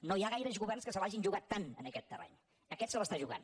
no hi ha gaires governs que se l’hagin jugat tant en aquest terreny aquest se l’està jugant